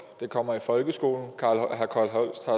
den kommer i folkeskolen herre carl holst fra